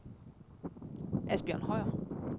Asbjørn Høyer